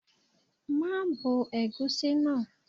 Má bo ẹ̀gúsí náà.